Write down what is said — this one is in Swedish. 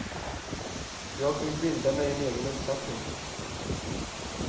Jag vill bilda mig en egen uppfattning.